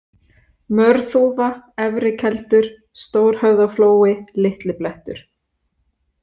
Mörþúfa, Efri-Keldur, Stórhöfðaflói, Litli-Blettur